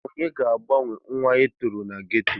Onye ga-agbanwe nwa a toro na geto?